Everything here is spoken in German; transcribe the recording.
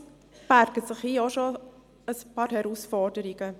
Allerdings birgt dies hier auch schon ein paar Herausforderungen.